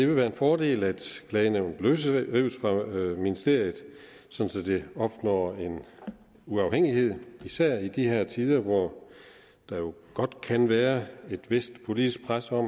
vil være en fordel at klagenævnet løsrives fra ministeriet sådan at det opnår en uafhængighed især i de her tider hvor der jo godt kan være et vist politisk pres på